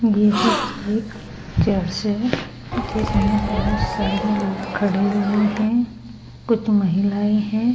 यह एक चर्च है जिसमें बोहोत सारे लोग खड़े हुए हैं। कुछ महिलाएं हैं।